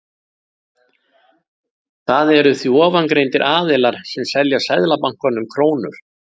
Það eru því ofangreindir aðilar sem selja Seðlabankanum krónur.